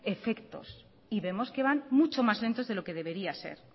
efectos y vemos que van mucho más lentos de lo que debería ser